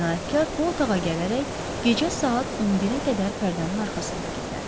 Cinayətkar bu otağa gələrək gecə saat 11-ə qədər pərdənin arxasında gizlənib.